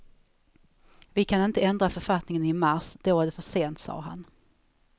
Vi kan inte ändra författningen i mars, då är det för sent, sade han.